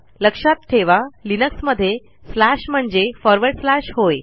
लक्षात ठेवा लिनक्समध्ये स्लॅश म्हणजे फॉरवर्ड स्लॅश होय